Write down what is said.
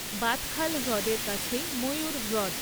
বাদখাল হ্রদের কাছেই ময়ূর হ্রদ।